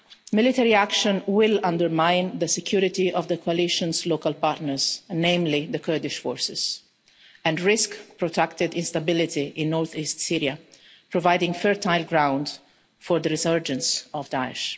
Military action will undermine the security of the Coalition's local partners namely the Kurdish forces and risk protracted instability in north-east Syria, providing fertile ground for the resurgence of Daesh.